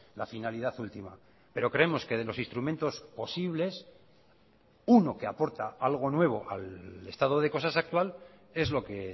la finalidad última pero creemos que de los instrumentos posibles uno que aporta algo nuevo al estado de cosas actual es lo que